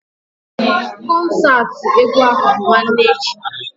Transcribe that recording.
Kọnsaati egwu ahụ bụ nwanne echi